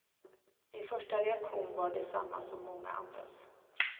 Min första reaktion var densamma som många andras.